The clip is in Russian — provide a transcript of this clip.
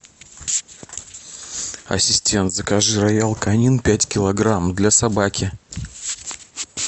ассистент закажи роял канин пять килограмм для собаки